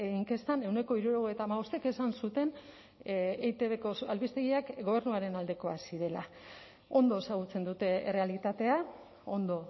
inkestan ehuneko hirurogeita hamabostek esan zuten etbko albistegiak gobernuaren aldekoak zirela ondo ezagutzen dute errealitatea ondo